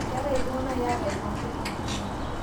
Ketai ltung'ana yata lwunet torno